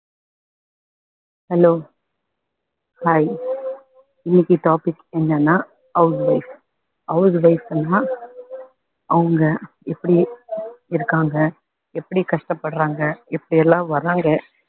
hello hi இன்னைக்கு topic என்னன்னா house wife house wife னா அவங்க எப்படி இருக்காங்க எப்படி கஷ்டப்படுறாங்க எப்படியெல்லாம் வர்றாங்க,